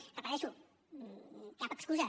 ho repeteixo cap excusa